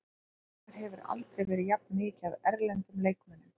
Í sumar hefur aldrei verið jafn mikið af erlendum leikmönnum.